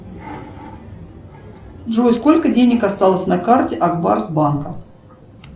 джой сколько денег осталось на карте акбарс банка